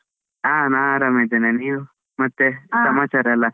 ಹಾ ನಾನ್ ಆರಾಮಿದ್ದೇನೆ, ನೀವ್ ಮತ್ತೆ ಎಲ್ಲ.